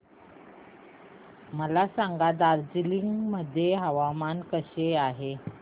मला सांगा दार्जिलिंग मध्ये हवामान कसे आहे